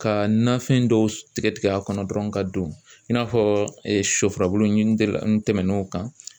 Ka nafɛn dɔw tigɛ tigɛ a kɔnɔ dɔrɔn ka don i n'a fɔ sɔfurabulu ntɛ ntɛmɛna o kan